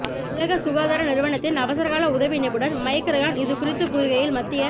உலக சுகாதார நிறுவனத்தின் அவசரகால உதவி நிபுணர் மைக் ரயான் இதுகுறித்து கூறுகையில் மத்திய